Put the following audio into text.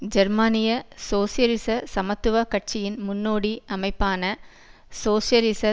ஜெர்மனிய சோசியலிச சமத்துவ கட்சியின் முன்னோடி அமைப்பான சோசியலிச